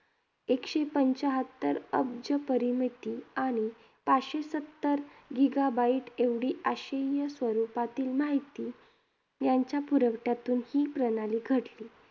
एकशे पंच्याहत्तर अब्ज परिमिती आणि पाचशे सत्तर gigabyte एवढी आशय्य स्वरूपातील माहिती यांच्या पुरवठ्यातून ही प्रणाली घडली.